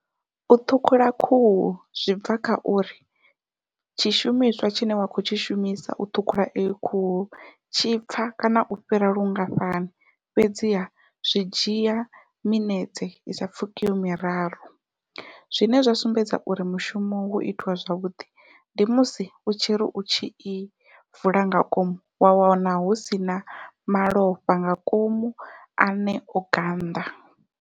U ṱhukhula khuhu zwi bva kha uri tshishumiswa tshine wa khou tshi shumisa u ṱhukhula iyo khuhu tshipfha kana u fhira lungafhani, fhedziha zwi dzhia minetse i sa pfhukiho miraru zwine zwa sumbedza uri mushumo wo itiwa zwavhuḓi ndi musi u tshi ri u tshi i vula ngangomu wa wana hu sina malofha nga ngomu ane o gannḓa.